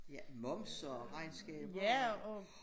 Ja momser og regnskaber